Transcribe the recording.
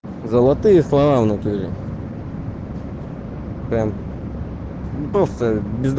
золотые слова внатуре прям просто без